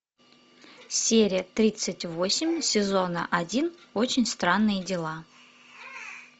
серия тридцать восемь сезона один очень странные дела